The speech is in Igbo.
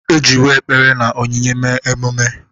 E jiwo ekpere na onyinye mee emume.